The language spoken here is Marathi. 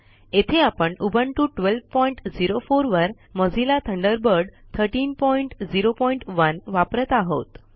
येथे आपण उबुंटू 1204 वर मोझिल्ला थंडरबर्ड 1301 वापरत आहोत